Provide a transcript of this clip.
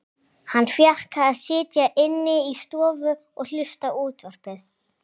Hann fékk að sitja inni í stofu og hlusta á útvarpið.